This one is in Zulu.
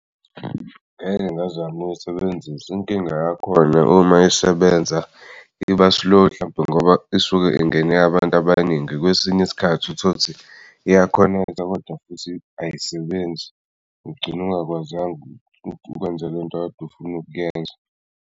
Ngeke ngazama uyisebenzisa inkinga yakhona uma isebenza iba-slow hlampe ngoba isuke ingene abantu abaningi kwesinye isikhathi utholukuthi iya-connect-a kodwa futhi ayisebenzi ugcine ungakwazanga ukwenza lento okade ufunukuyenza.